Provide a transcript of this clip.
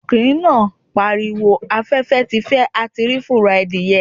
Ọkùnrin náà pariwo 'afẹ́fẹ́ ti fẹ́ a ti rí fùrọ̀ adìẹ'